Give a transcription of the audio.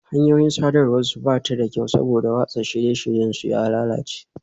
Hanyoyin sadarwar su ba su da kyau saboda watsa shirye-shiryen su ya lalace